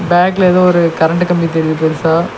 பேங்ல எதொ ஒரு கரண்டு கம்பி தெரிது பெருசா.